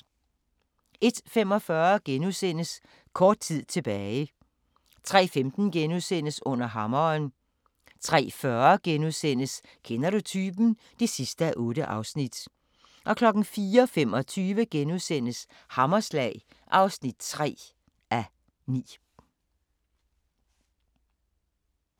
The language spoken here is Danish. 01:45: Kort tid tilbage * 03:15: Under hammeren * 03:40: Kender du typen? (8:8)* 04:25: Hammerslag (3:9)*